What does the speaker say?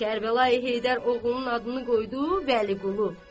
Kərbəlayı Heydər oğlunun adını qoydu Vəliqulu.